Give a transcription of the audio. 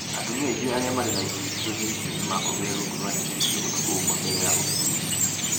Atumia aingĩ arĩa marĩ na ihu icigo inĩ icio nĩ makomire rungu rwa neti icio ũtukũ ũmwe mbele ya ũthuthuria